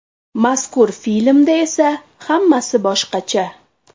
Mazkur filmda esa hammasi boshqacha.